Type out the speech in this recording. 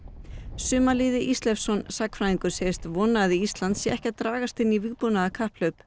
Sumarliði Ísleifsson sagnfræðingur segist vona að Ísland sé ekki að dragast inn í vígbúnaðarkapphlaup